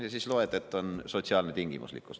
Ja siis loed, et on sotsiaalne tingimuslikkus.